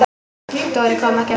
Dóri kom ekki aftur.